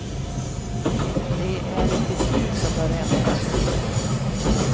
Det är ett beslut som bör ändras.